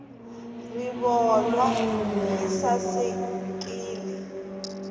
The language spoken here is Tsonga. rivolwa yi sasekile